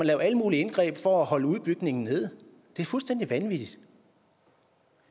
lave alle mulige indgreb for at holde udbygningen nede det er fuldstændig vanvittigt